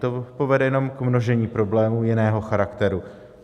To povede jenom k množení problémů jiného charakteru.